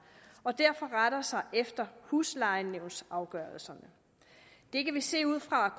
og derfor retter sig efter huslejenævnsafgørelserne det kan vi se ud fra